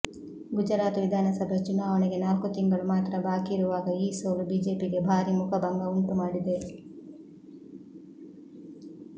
ಗುಜರಾತ್ ವಿಧಾನಸಭೆ ಚುನಾವಣೆಗೆ ನಾಲ್ಕು ತಿಂಗಳು ಮಾತ್ರ ಬಾಕಿ ಇರುವಾಗ ಈ ಸೋಲು ಬಿಜೆಪಿಗೆ ಭಾರಿ ಮುಖಭಂಗ ಉಂಟು ಮಾಡಿದೆ